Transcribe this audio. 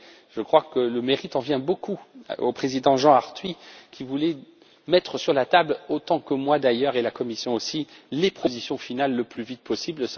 Je crois que le mérite en revient beaucoup au président Jean Arthuis qui voulait mettre sur la table, autant que moi d'ailleurs, tout comme la commission, les propositions finales le plus vite possible.